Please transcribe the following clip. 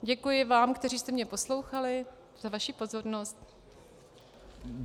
Děkuji vám, kteří jste mne poslouchali, za vaši pozornost.